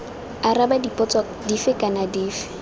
araba dipotso dife kana dife